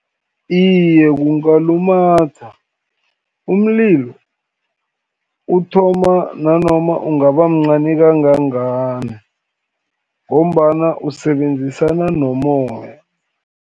Iye, kungalumatha, umlilo uthoma nanoma ungabamncani kangangani, ngombana usebenzisana nomoya.